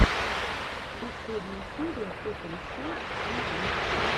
последняя серия тоталли спайс энд витч